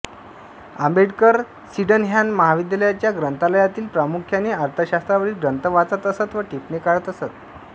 Ambedkar Sydenham महाविद्यालयाच्या ग्रंथालयातील प्रामुख्याने अर्थशास्त्रावरील ग्रंथ वाचत असत व टिपणे काढत असत